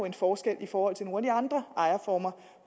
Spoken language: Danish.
en forskel i forhold til nogle af de andre ejerformer